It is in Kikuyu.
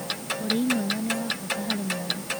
Ũrĩĩ mwega nĩ wa bata harĩ wa mwana